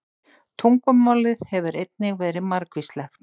Tungumálið hefur einnig verið margvíslegt.